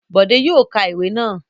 Bọ̀dé yóò ka ìwé náà.